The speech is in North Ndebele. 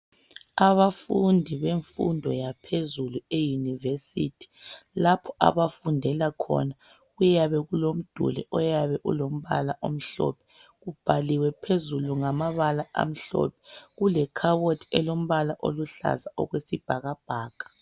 Abafundi bemfundo yaphezulu eUniversity lapho abafundela khona kuyabe kulomduli oyabe ulombala omhlophe. Ubhaliwe phezulu ngamabala amhlophe. Kulekhabothi elombala oluhlaza okwesibhakabhaka.